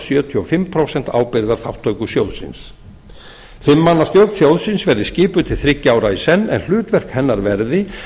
sjötíu og fimm prósent ábyrgðarþátttöku sjóðsins fimm manna stjórn sjóðsins verði skipuð til þriggja ára í senn en hlutverk hennar verði